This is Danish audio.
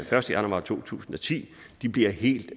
første januar to tusind og ti bliver helt